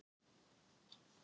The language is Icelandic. Ég veit ekkert um þetta mál.